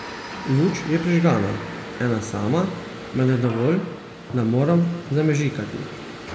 Luč je prižgana, ena sama, vendar dovolj, da moram zamežikati.